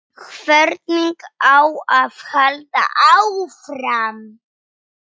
Hvernig á að halda áfram?